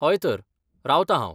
हय तर. रावतां हांव.